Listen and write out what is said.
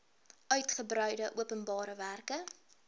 uitgebreide openbare werke